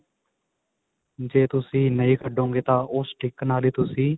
ਜੇ ਤੁਸੀਂ ਨਹੀਂ ਕੱਢੋਗੇ ਤਾਂ ਉਹ stick ਨਾਲ ਹੀ ਤੁਸੀਂ